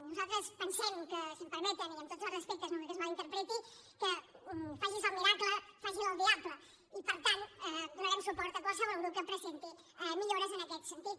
nosaltres pensem que si m’ho permeten i amb tots els respectes no vull que es mal interpreti faci’s el miracle faci’l el diable i per tant donarem suport a qualsevol grup que presenti millores en aquest sentit